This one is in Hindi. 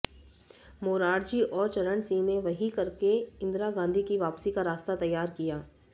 मोरारजी और चरणसिंह ने वही करके इन्दिरा गांधी की वापसी का रास्ता तैयार किया